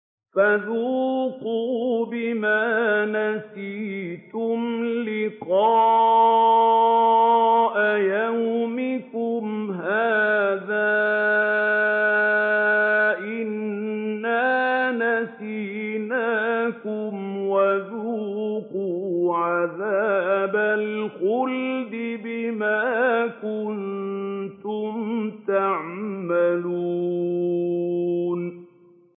فَذُوقُوا بِمَا نَسِيتُمْ لِقَاءَ يَوْمِكُمْ هَٰذَا إِنَّا نَسِينَاكُمْ ۖ وَذُوقُوا عَذَابَ الْخُلْدِ بِمَا كُنتُمْ تَعْمَلُونَ